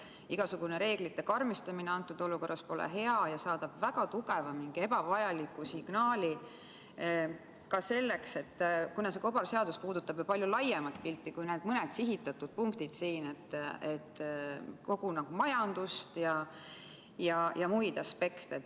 Igasugune reeglite karmistumine pole antud olukorras hea ja saadab väga tugeva, mingi ebavajaliku signaali, kuna see kobarseadus puudutab ju palju laiemat pilti kui need mõned sihitatud punktid siin, kogu majandust ja muid aspekte.